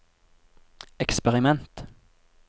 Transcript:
eksperiment